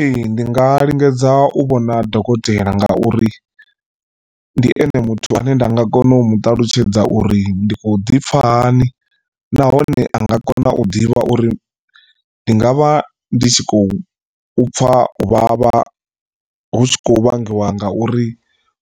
Ee ndi nga lingedza u vhona dokotela nga uri ndi ene muthu ane nda nga kona u muṱalutshedza uri ndi khou ḓipfa hani, nahone a nga kona u ḓivha uri ndi nga vha ndi tshi khou pfa uvhavha hu tshi khou vhangiwa ngauri